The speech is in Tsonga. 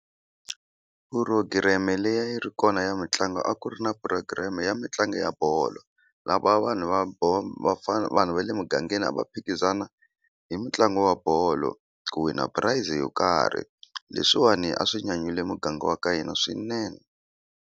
Phurogireme leyi a yi ri kona ya mitlangu a ku ri na program ya mitlangu ya bolo lava vanhu va vafana vanhu va le mugangeni a va phikizana hi mitlangu wa bolo ku wina price yo karhi leswiwani a swi nyanyule muganga wa ka hina swinene.